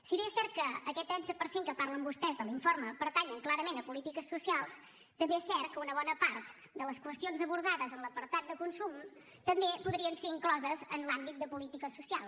si bé és cert que aquest trenta per cent que parlen vostès de l’informe pertany clarament a polítiques socials també és cert que una bona part de les qüestions abordades en l’apartat de consum també podrien ser incloses en l’àmbit de política social